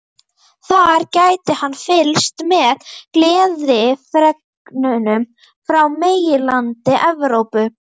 Þar gæti hann fylgst með gleðifregnunum frá meginlandi Evrópu.